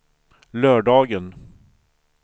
lördagen